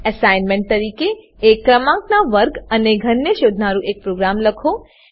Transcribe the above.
assignment તરીકે એક ક્રમાંકનાં વર્ગ અને ઘનને શોધનારુ એક પ્રોગ્રામ લખો